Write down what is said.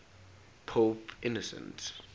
pope innocent